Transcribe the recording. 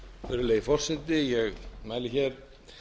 virðulegi forseti ég mæli hér